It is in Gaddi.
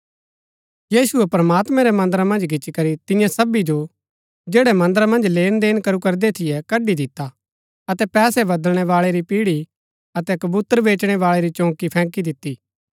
यीशुऐ प्रमात्मैं रै मन्दरा मन्ज गिच्ची करी तियां सबी जो जैड़ै मन्दरा मन्ज लेनदेन करू करदै थियै कड्ड़ी दिता अतै पैसै बदलणै बाळै री पिढ़ी अतै कबूतर बेचणै बाळै री चौकी फैंकी दिती